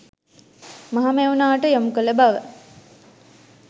මහමෙව්නාවට යොමුකළ බව